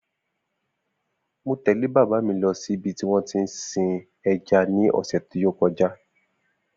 Mo tẹ̀lé bàbá mi lọ ṣí ibi tí wón tí ń sin ẹja ní ọ̀sẹ̀ tí ó kọjá